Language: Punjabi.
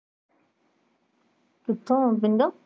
ਕਿਥੋਂ ਪਿੰਡੋਂ।